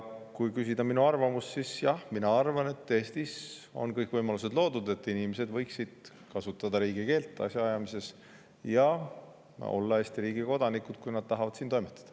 Kui küsite minu arvamust, siis mina arvan, et Eestis on loodud kõik võimalused, et inimesed võiksid kasutada asjaajamises riigikeelt ja olla Eesti riigi kodanikud, kui nad tahavad siin toimetada.